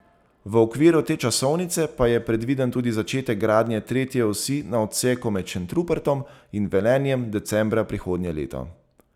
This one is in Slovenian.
V okviru te časovnice pa je predviden tudi začetek gradnje tretje osi na odseku med Šentrupertom in Velenjem decembra prihodnje leto.